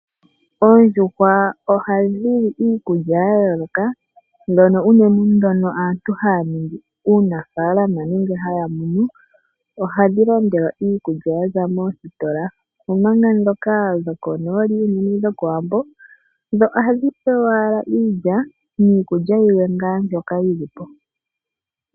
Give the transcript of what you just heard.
Oondjuhwa oha dhi li iikulya ya yooloka. Ndhono unene aantu haya ningi uunafaalama nenge ha ya munu ohadhi landelwa iikulya ya za moositola, omanga ndhoka dhokonooli unene dhokOwambo dho ohadhi pewa wala iilya niikulya yilwe ngaa mbyoka yi li po.